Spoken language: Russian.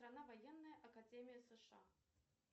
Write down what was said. военная академия сша